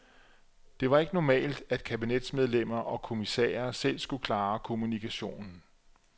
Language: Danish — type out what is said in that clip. Det var ikke normalt at kabinetsmedlemmer og kommissærer selv skulle klare kommunikationen.